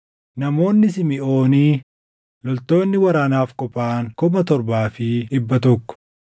namoonni Simiʼoonii loltoonni waraanaaf qophaaʼan 7,100;